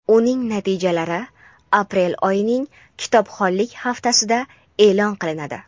uning natijalari aprel oyining kitobxonlik haftasida eʼlon qilinadi.